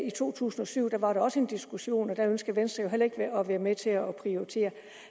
i to tusind og syv var der også en diskussion og der ønskede venstre jo heller ikke at være med til at prioritere